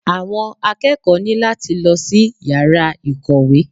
Àwọn akẹ́kọ̀ọ́ ní láti lọ sí yàrá ìkọ̀wé.